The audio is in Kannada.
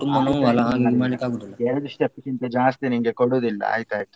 ಎರಡು step ಗಿಂತ ಜಾಸ್ತಿ ನಿಂಗೆ ಕೊಡುದಿಲ್ಲ ಆಯ್ತಾಯ್ತು.